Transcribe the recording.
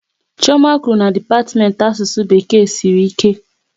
Chioma kwụrụ na dipatiment Asụsụ Bekee sịrị ike